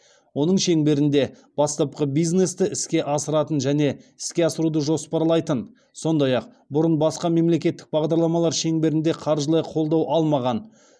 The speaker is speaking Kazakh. оның шеңберінде бастапқы бизнесті іске асыратын және іске асыруды жоспарлайтын сондай ақ бұрын басқа мемлекеттік бағдарламалар шеңберінде қаржылай қолдау алмаған